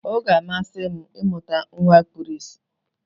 Ọ ga-amasị m ịmụta nwa kpuru ìsì.